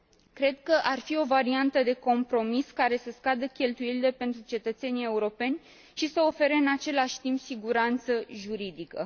Cred că ar fi o variantă de compromis care să scadă cheltuielile pentru cetățenii europeni și să ofere, în același timp, siguranță juridică.